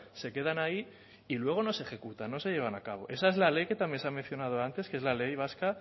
se quedan ahí y luego no se ejecutan no se llevan a cabo esa es la ley que también se ha mencionado antes que es la ley vasca